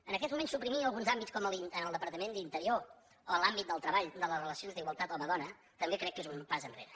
en aquests moments suprimir alguns àmbits com en el departament d’interior o en l’àmbit del treball de les relacions d’igualtat home dona també crec que és un pas enrere